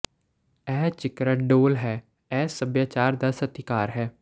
ਇਹ ਚਿਕਰਾ ਢੋਲ ਹੈ ਇਹ ਸੱਭਿਆਚਾਰ ਦਾ ਸਤਿਕਾਰ ਹੈ